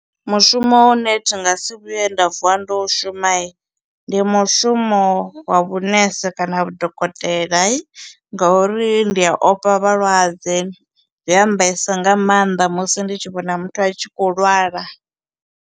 Mushumo une thi nga si vhuye nda vuwa ndo u shuma, ndi mushumo wa vhunese kana vhudokotela ngauri ndi ya ofha vhalwadze, zwi a mbaisa nga maanḓa musi ndi tshi vhona muthu a tshi kho lwala.